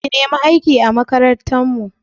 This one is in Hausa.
Ki nemi aiki a makarantar mu!